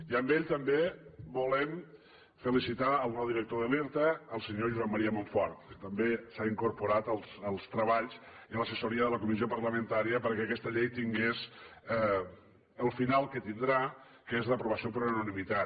i amb ell també volem felicitar el nou director de l’irta el senyor josep maria monfort que també s’ha incorporat als treballs i a l’assessoria de la comissió parlamentària perquè aquesta llei tingués el final que tindrà que és l’aprovació per unanimitat